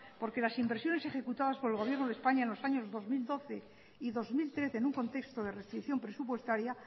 porque las inversiones ejecutadas por el gobierno de españa en los años dos mil doce y dos mil trece en un contexto de restricción presupuestaria